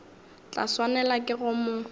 tla swanelwa ke go mo